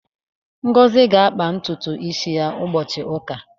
Ngozi ga-akpa ntutu isi ụbọchị ụka.